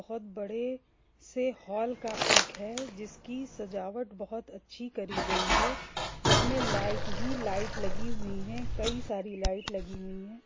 बहुत बड़े से हॉल का पिक है जिसकी सजावट बहुत अच्छी करी गई है जिसमें लाइट ही लाइट लगी हुई है कई सारी लाइट लगी हुई है।